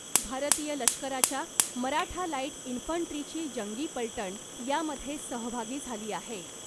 भारतीय लष्कराच्या मराठा लाईट इंफंट्रीची जंगी पलटण यामध्ये सहभागी झाली आहे .